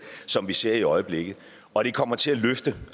som vi ser i øjeblikket og det kommer til at løfte